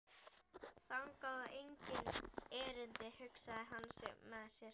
Þangað á enginn erindi, hugsaði hann með sér.